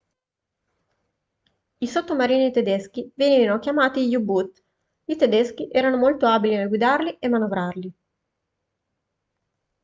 i sottomarini tedeschi venivano chiamati u-boot i tedeschi erano molto abili nel guidarli e manovrarli